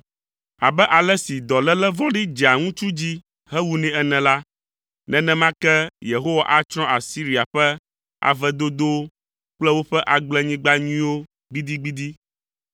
Abe ale si dɔléle vɔ̃ɖi dzea ŋutsu dzi hewunɛ ene la, nenema ke Yehowa atsrɔ̃ Asiria ƒe ave dodowo kple woƒe agblenyigba nyuiwo gbidigbidi.